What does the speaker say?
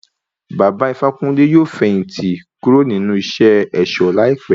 Baba Ifákúnle yóò fẹ̀yìn tì kúrò nínú iṣé ẹ̀ṣọ̀ láìpé.